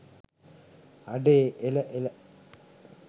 අඩේ එල එල